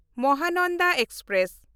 Mahananda express